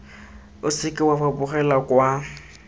o seke wa fapogela kwa